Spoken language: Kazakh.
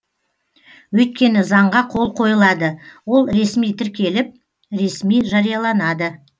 өйткені заңға қол қойылады ол ресми тіркеліп ресми жарияланады